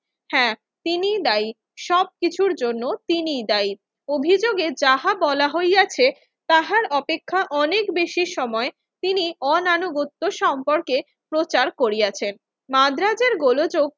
হ্যাঁ, তিনিই দায়ী, সব কিছুর জন্য তিনিই দায়ী। অভিযোগে যাহা বলা হইয়াছে তাহার অপেক্ষা অনেক বেশি সময় তিনি অনানুগত্য সম্পর্কে প্রচার করিয়াছেন। মাদ্রাজের গোলোযোগ,